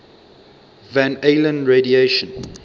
van allen radiation